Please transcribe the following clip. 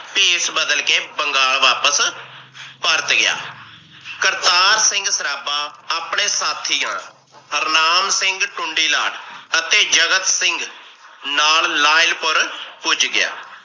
ਭੇਸ ਬਦਲ ਕੇ ਬੰਗਾਲ ਵਾਪਸ ਪਰਤ ਗਿਆ। ਕਰਤਾਰ ਸਿੰਘ ਸਰਾਬਾ ਆਪਣੇ ਸਾਥੀਆਂ ਹਰਨਾਮ ਸਿੰਘ ਟੁੰਡੀਲਾ ਅਤੇ ਜਗਤ ਸਿੰਘ ਨਾਲ ਲਾਇਲਪੁਰ ਪੁੱਜ ਗਿਆ।